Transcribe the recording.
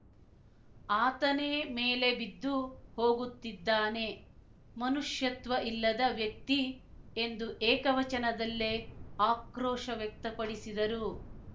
ಆತನೇ ಮೇಲೆ ಬಿದ್ದು ಹೋಗುತ್ತಿದ್ದಾನೆ ಮನುಷ್ಯತ್ವ ಇಲ್ಲದ ವ್ಯಕ್ತಿ ಎಂದು ಏಕವಚನದಲ್ಲೇ ಆಕ್ರೋಶ ವ್ಯಕ್ತಪಡಿಸಿದರು